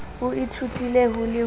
o ithutile ho le ho